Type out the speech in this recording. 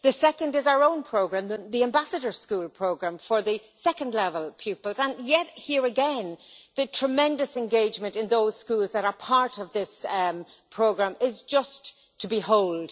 The second is our own programme the Ambassador School Programme for secondary level pupils, and here again, the tremendous engagement in those schools that are part of this programme is just to behold.